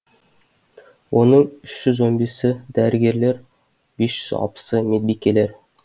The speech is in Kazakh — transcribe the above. оның үш жүз он бесі дәрігерлер бес жүз алпысы медбикелер